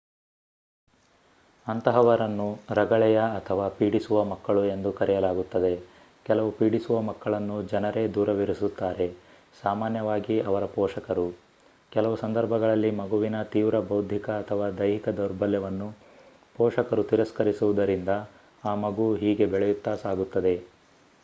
ಅಂತಹವರನ್ನು ರಗಳೆಯ ಅಥವಾ ಪೀಡಿಸುವ ಮಕ್ಕಳು ಎಂದು ಕರೆಯಲಾಗುತ್ತದೆ. ಕೆಲವು ಪೀಡಿಸುವ ಮಕ್ಕಳನ್ನು ಜನರೇ ದೂರವಿರಿಸುತ್ತಾರೆ ಸಾಮಾನ್ಯವಾಗಿ ಅವರ ಪೋಷಕರು; ಕೆಲವು ಸಂದರ್ಭಗಳಲ್ಲಿ ಮಗುವಿನ ತೀವ್ರ ಬೌದ್ಧಿಕ ಅಥವಾ ದೈಹಿಕ ದೌರ್ಬಲ್ಯವನ್ನು ಪೋಷಕರು ತಿರಸ್ಕರಿಸುವುದರಿಂದ ಆ ಮಗು ಹೀಗೆ ಬೆಳೆಯುತ್ತಾ ಸಾಗುತ್ತದೆ